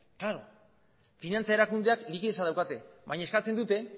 klaro finantza erakundeek likidetza daukate baina eskatzen dute